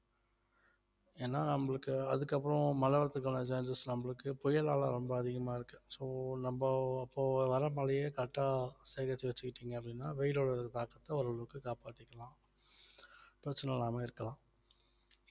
ஏன்னா நம்மளுக்கு அதுக்கப்புறம் மழை வர்றதுக்கான chances நம்மளுக்கு புயலால ரொம்ப அதிகமா இருக்கு so நம்ம இப்போ வர்ற மழையே correct ஆ சேகரிச்சு வச்சுக்கிட்டீங்க அப்படின்னா வெயிலோட தாக்கத்தை ஓரளவுக்கு காப்பாத்திக்கலாம் பிரச்சனை இல்லாம இருக்கலாம்